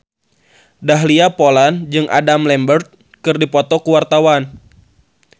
Dahlia Poland jeung Adam Lambert keur dipoto ku wartawan